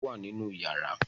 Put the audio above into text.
Fáànù wà nínú yàrá.